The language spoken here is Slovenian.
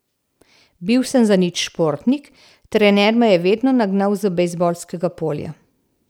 Bil sem zanič športnik, trener me je vedno nagnal z bejzbolskega polja.